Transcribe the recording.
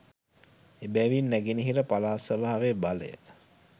එබැවින් නැගෙනහිර පළාත් සභාවේ බලය